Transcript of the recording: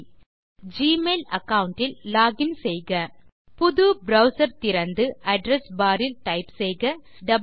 முதலில் Gmail account இல் login செய்க புது ப்ரவ்சர் திறந்து அட்ரெஸ் பார் இல் டைப் செய்க wwwgmailcom